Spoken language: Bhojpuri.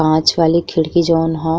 कांच वाली खिड़की जोन ह --